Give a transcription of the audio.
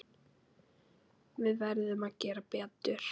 Við verðum að gera betur.